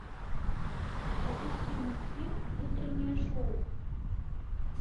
запусти мультфильм утреннее шоу